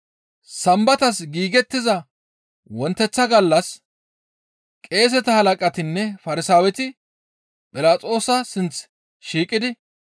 Sambatas giigettiza wonteththa gallas qeeseta halaqatinne Farsaaweti Philaxoosa sinth shiiqidi,